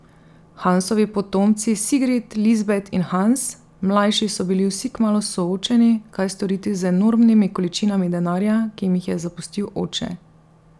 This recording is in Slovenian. Hansovi potomci Sigrid, Lisbet in Hans mlajši so bili vsi kmalu soočeni, kaj storiti z enormnimi količinami denarja, ki jim jih je zapustil oče.